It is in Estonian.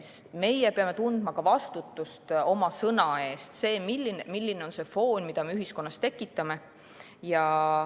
Meie peame tundma vastutust oma sõna eest, selle eest, milline on see foon, mida me ühiskonnas tekitame.